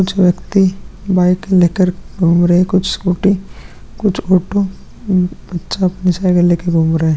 कुछ व्यक्ति बाइक ले कर घूम रहे है कुछ स्कूटी कुछ ऑटो उ अच्छा अपनी साइकिल ले कर घूम रहे है।